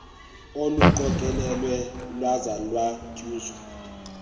oluqokelelweyo lwaza lwanyuswa